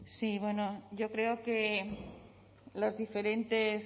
sí yo creo que